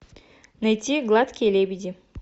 найти гладкие лебеди